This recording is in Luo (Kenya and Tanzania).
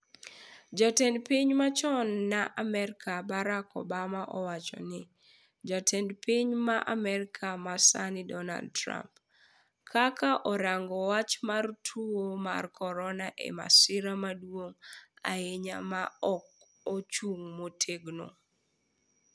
jatend piny machon ma Amerika Barak Obama owacho ni. jatend piny ma Amerika ma sani Dornald Trump. kaka orango wach mar tuwo mar corona en masira maduong' ahinya ma ok ochung motegno.